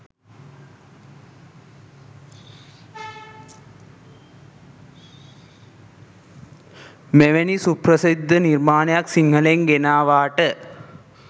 මෙවැනි සුප්‍රසිද්ධ නිර්මාණයක් සිංහලෙන් ගෙනවාට.